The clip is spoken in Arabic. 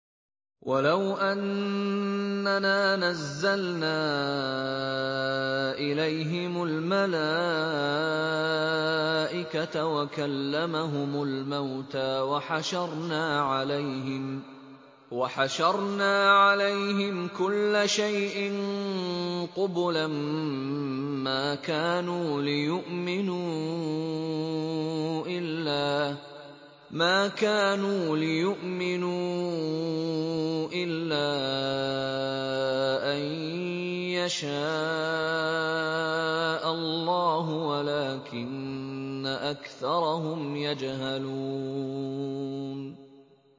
۞ وَلَوْ أَنَّنَا نَزَّلْنَا إِلَيْهِمُ الْمَلَائِكَةَ وَكَلَّمَهُمُ الْمَوْتَىٰ وَحَشَرْنَا عَلَيْهِمْ كُلَّ شَيْءٍ قُبُلًا مَّا كَانُوا لِيُؤْمِنُوا إِلَّا أَن يَشَاءَ اللَّهُ وَلَٰكِنَّ أَكْثَرَهُمْ يَجْهَلُونَ